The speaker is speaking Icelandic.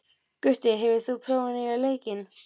Gutti, hefur þú prófað nýja leikinn?